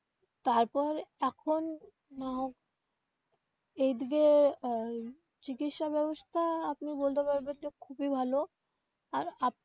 তারপর এখন আহ এইদিকে আহ চিকিৎসা ব্যবস্থা আপনি বলতে পারবেন যে খুবই ভালো.